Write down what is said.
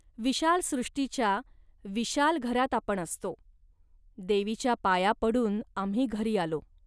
विशाल सृष्टीच्या विशाल घरात आपण असतो. देवीच्या पाया पडून आम्ही घरी आलो